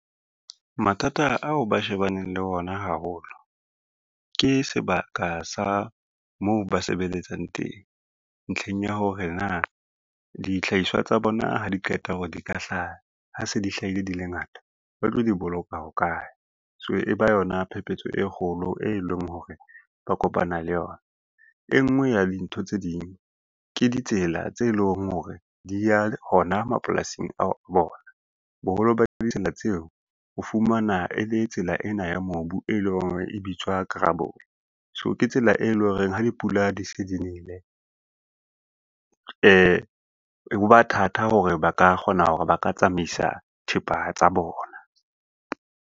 Mathata ao ba shebaneng le ona haholo, ke sebaka sa moo ba sebeletsang teng. Ntlheng ya hore na, dihlahiswa tsa bona ha di qeta hore di ka hlaha, ha se di hlahile di le ngata ba tlo di boloka hokae, so e ba yona phepetso e kgolo e leng hore ba kopana le yona. E ngwe ya dintho tse ding ke ditsela tse leng hore di ya hona mapolasing a bona, boholo ba ditsela tseo o fumana e le tsela ena ya mobu, e leng hore e bitswa kerabole. So ke tsela e leng horeng ha dipula di se di nele ho ba thata hore ba ka kgona hore ba ka tsamaisa thepa tsa bona.